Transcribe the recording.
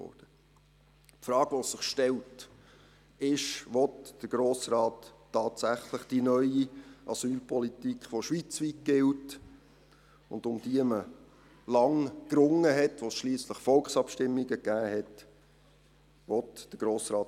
Die Frage, die sich stellt, ist: Will der Grosse Rat tatsächlich die neue Asylpolitik verhindern, die schweizweit gilt, um die man lange gerungen und über die es schliesslich Volksabstimmungen gegeben hat?